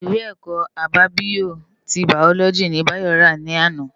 Iwé èkò ábábiyó ti báyólòji ni Bayo rá làná